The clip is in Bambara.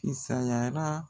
Kisanyara